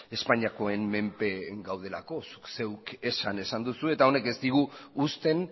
espainiakoen menpe gaudelako zuk zeuk esan esan duzu eta honek ez digu uzten